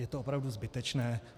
Je to opravdu zbytečné.